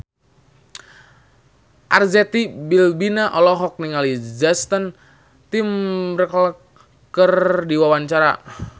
Arzetti Bilbina olohok ningali Justin Timberlake keur diwawancara